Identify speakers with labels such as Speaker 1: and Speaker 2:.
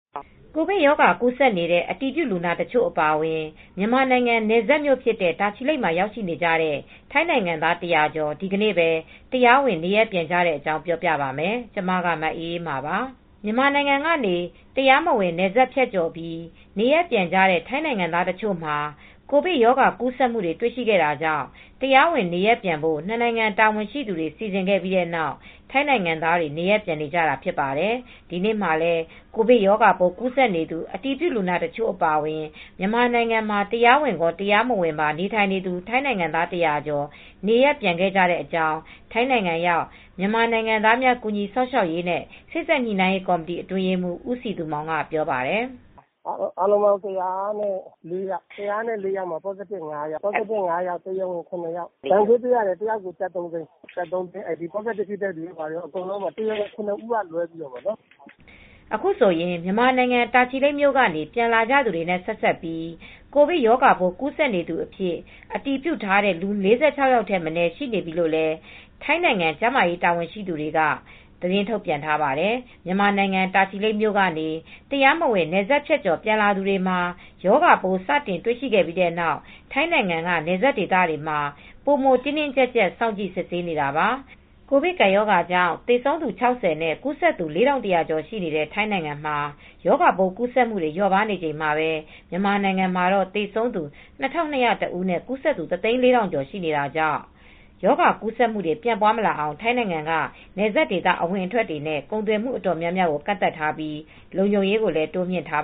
Speaker 1: ကိုဗစ်ရောဂါ ကူးစက်နေတဲ့ အတည်ပြုလူနာတချို့ အပါအဝင် မြန်မာနိုင်ငံနယ်စပ်မြို့ဖြစ်တဲ့ တာချီလိတ်မှာ ရောက်နေကြတဲ့ ထိုင်းနိုင်ငံသား ၁၀၀ ကျော် ဒီနေ့ပဲ တရားဝင် နေရပ်ပြန်ခဲ့ကြတဲ့အကြောင်းကို ဗွီအိုအေမြန်မာပိုင်း သတင်းထောက် မအေးအေးမာက ပြောပြပါမယ်။ မြန်မာနိုင်ငံကနေ တရားမဝင် နယ်စပ်ဖြတ်ကျော်ပြီး နေရပ်ပြန်ကြတဲ့ ထိုင်းနိုင်ငံသားတချို့မှာ ကိုဗစ်ရောဂါကူးစက်မှုတွေ တွေ့ရှိခဲ့တာကြောင့် တရားဝင်နေရပ်ပြန်ဖို့ ၂ နိုင်ငံ တာဝန်ရှိသူတွေ စီစဉ်ခဲ့ပြီးနောက် ထိုင်းနိုင်ငံသားတွေ နေရပ်ပြန်နေကြတာ ဖြစ်ပါတယ်။ ဒီနေ့မှာလည်း ကိုဗစ်ရောဂါပိုး ကူးစက်နေသူ အတည်ပြုလူနာတချို့ အပါအဝင် မြန်မာနိုင်ငံမှာ တရားဝင်ရော၊ တရားမဝင်ပါ နေထိုင်နေသူ ထိုင်းနိုင်ငံသား ၁၀၀ ကျော် နေရပ်ပြန်ခဲ့ကြတဲ့အကြောင်း ထိုင်းနိုင်ငံရောက် မြန်မာနိုင်ငံသားများ ကူညီစောင့်ရှောက်ရေးနဲ့ စေ့စပ်ညှိနှိုင်းရေးကော်မတီ အတွင်းရေးမှူး ဦးစည်သူမောင်က ပြောပါတယ်။ “
Speaker 2: အားလုံးပေါင်း ၁၀၄ ယောက်၊ ၁၀၄ ယောက်မှာ positive ဖြစ်တာ ၅ ယောက်ပါတယ်။ တရားဝင်အထောက်အထားရှိတာ ၇ ဦးပါတယ်။ ဒဏ်ကြေးအားလုံး တယောက်ကို ၃၀၀,၀၀၀ ပေးရပါတယ်။ တရားဝင် ၇ ဦးက လွဲပြီးတော့ပေါ့နော်
Speaker 1: ။” အခုဆိုရင် မြန်မာနိုင်ငံ တာချီလိတ်မြို့ကနေ ပြန်လာကြသူတွေနဲ့ ဆက်စပ်ပြီး ကိုဗစ်ရောဂါပိုး ကူးစက်နေသူအဖြစ် အတည်ပြုထားတဲ့သူ ၄၆ ယောက်ထက်မနည်း ရှိနေပြီလို့လည်း ထိုင်းနိုင်ငံ ကျန်းမာရေး တာဝန်ရှိသူတွေက သတင်းထုတ်ပြန်ထားပါတယ်။ မြန်မာနိုင်ငံတာချီလိတ်မြို့ကနေ တရားမဝင် နယ်စပ်ဖြတ်ကျော် ပြန်လာသူတွေမှာ ရောဂါပိုးစတင်တွေ့ရှိခဲ့ပြီးနောက် ထိုင်းနိုင်ငံက နယ်စပ်ဒေသတွေမှာ ပိုမို တင်းတင်းကြပ်ကြပ် စောင့်ကြည့် စစ်ဆေးနေတာပါ။ ကိုဗစ်ကပ်ရောဂါကြောင့် သေဆုံးသူ ၆၀ နဲ့ ကူးစက်သူ ၄,၁၀၀ ကျော် ရှိတဲ့ ထိုင်းနိုင်ငံမှာ ရောဂါပိုးကူးစက်မှုတွေ လျော့ပါးနေချိန်မှာပဲ မြန်မာနိုင်ငံမှာတော့ သေဆုံးသူ ၂,၂၀၁ ကျော်နဲ့ ကူးစက်သူ ၁၀၄,၀၀၀ ကျော် ရှိနေတာကြောင့် ရောဂါကူးစက်မှုတွေ ပြန့်ပွားမလာအောင် ထိုင်းနိုင်ငံက နယ်စပ်ဒေသ အဝင်အထွက်တွေနဲ့ ကုန်သွယ်မှုတွေ တော်တော်များများကိုလည်း ကန့်သတ်ထားပြီး လုံခြုံရေးကိုလည်း တိုးမြှင့်ထား